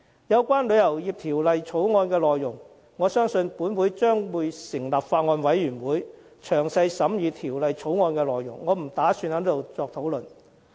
有關條例草案的內容，我相信本會將會成立法案委員會詳加審議，我不打算在此作出討論。